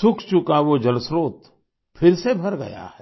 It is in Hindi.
सूख चुका वो जलस्त्रोत फिर से भर गया है